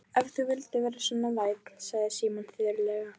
Ef þú vildir vera svo vænn sagði Símon þurrlega.